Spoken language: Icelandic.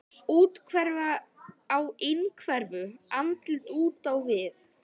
Úthverfa á innhverfu, andlit út á við.